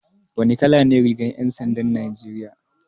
Wane kala ne rigar 'yan sandan Najeriya?